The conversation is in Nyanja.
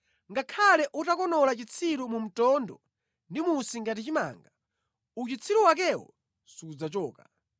Ngakhale utakonola chitsiru mu mtondo ndi musi ngati chimanga, uchitsiru wakewo sudzachoka.